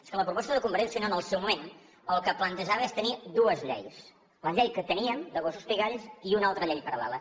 és que la proposta de convergència i unió en el seu moment el que plantejava és tenir dues lleis la llei que teníem de gossos pigalls i una altra llei paral·lela